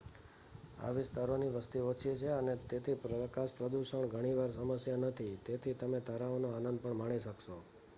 આ વિસ્તારોની વસ્તી ઓછી છે અને તેથી પ્રકાશપ્રદૂષણ ઘણી વાર સમસ્યા નથી તેથી તમે તારાઓનો આનંદ પણ માણી શકશો